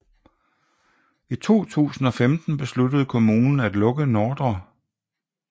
I 2015 besluttede kommunen at lukke Ndr